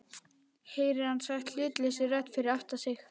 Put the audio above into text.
heyrir hann sagt hlutlausri rödd fyrir aftan sig.